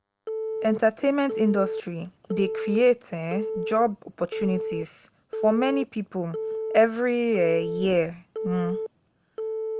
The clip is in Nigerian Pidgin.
entertainment industry de create um job opportunities for many pipo every um year um